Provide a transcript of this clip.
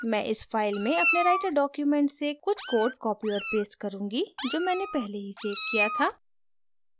मैं इस फाइल में अपने writer document से कुछ code copy और paste करुँगी जो मैंने पहले ही सेव किया था